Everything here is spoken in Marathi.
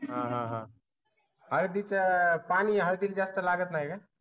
अह हळदी च पानी हळदी ला जास्त लागत नाही काय?